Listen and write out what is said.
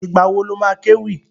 Ìgbà wo lo má kéwì?